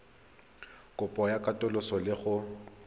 kopo ya katoloso le go